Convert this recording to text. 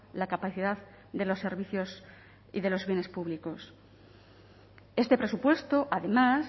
la capacidad de los servicios y de los bienes públicos este presupuesto además